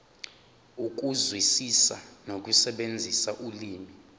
ukuzwisisa nokusebenzisa ulimi